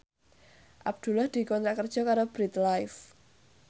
Abdullah dikontrak kerja karo Bread Life